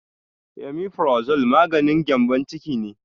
Amifurazol maganin gyambon ciki ne